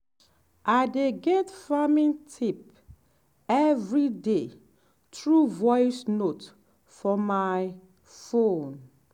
i dey get farming tip every day through voice note for my phone.